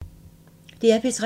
DR P3